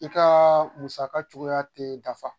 I ka musaka cogoya tɛ da fa